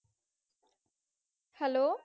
hello